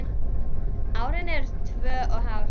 Árin eru tvö og hálft.